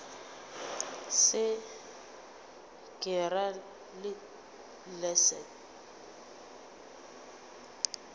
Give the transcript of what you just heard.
se ke ra le leset